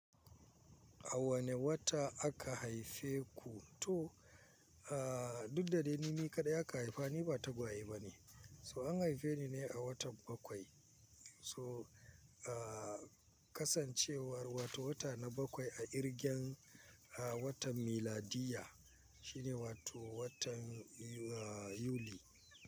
A wane wata aka haife ku? To, ah, duk da dai ni kaɗai aka haifa ni ba tagwaye bane. So an haife ni ne a watan bakwai. So ah kasancewar wata wata na farko a irgen watan miladiya shine wato watan, ah, Yuli.